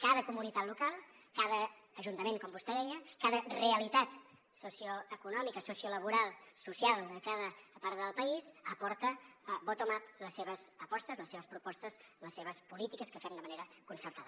cada comunitat local cada ajuntament com vostè deia cada realitat socioeconòmica sociolaboral social de cada part del país aporta bottom up les seves apostes les seves propostes les seves polítiques que fem de manera concertada